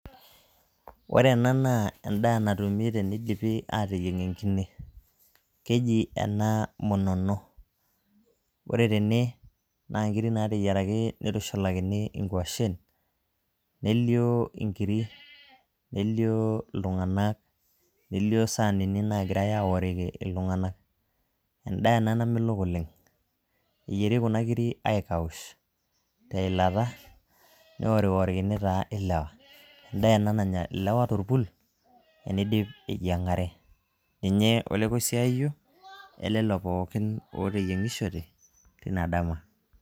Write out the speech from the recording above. Ore ena naa endaa natumi tenidipi aateyieng' enkine, keji ena munono ore tene naa nkiri naateyieraki nitushulakini nkuashen nelioo nkiri nelio iltung'anak nelioo isaanini naagirai aoriki iltung'anak endaa ena namelok oleng' eyieri kuna kiri aikaush teilata neworiwokini taa ilewa endaa ena nanya ilewa torpull eniidip eyiang'are, ninye olekoisiaayio elelo pookin ooteyieng'ishote tina dama.